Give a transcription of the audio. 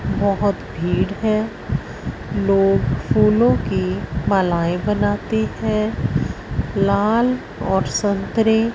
बहोत भीड़ है लोग फूलों की मलायें बनाती है लाल और संतरे--